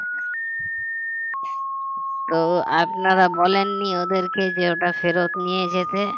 তো আপনারা বলেননি ওদেরকে যে ওটা ফেরত নিয়ে যেতে